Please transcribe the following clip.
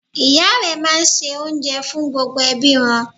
Ìya rẹ máa n se oúnjẹ fún gbogbo ẹbí wọn